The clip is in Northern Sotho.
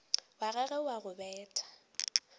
wa gagwe wa go betla